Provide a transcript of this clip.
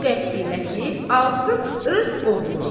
Bu qəsdilə ki, alsın öz oğluna.